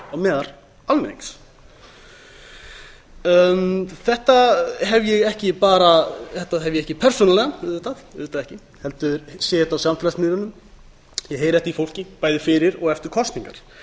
þingmaður á meðal almennings þetta hef ég ekki bara persónulega auðvitað ekki heldur sé ég þetta á samfélagsmiðlunum ég heyri af því fólki bæði fyrir og eftir kosningar